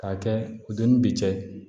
K'a kɛ u denw bi cɛ